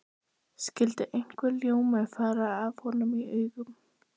Skyldi einhver ljómi fara af honum í augum